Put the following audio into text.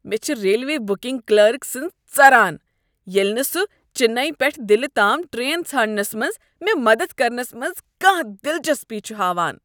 مےٚ چھ railway booking clerk سٕنز ژران ییٚلہ نہٕ سہ چننے پیٹھ دلہ تام ٹرین ژھانڈنس منٛز مےٚ مدد کرنس منٛز کانٛہہ دلچسپی چھ ہاوان۔